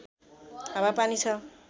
हावापानी छ